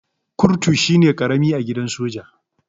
Kurtu shine karami a gidan soja.